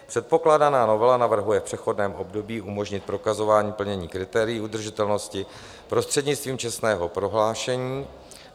Předkládaná novela navrhuje v přechodném období umožnit prokazování plnění kritérií udržitelnosti prostřednictvím čestného prohlášení.